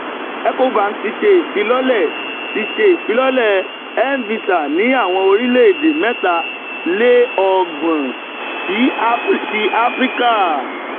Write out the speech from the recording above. ecobank ti ṣe ifilọlẹ ti ṣe ifilọlẹ mvisa ni awọn orilẹ-ede mẹtá le ogban ti afirika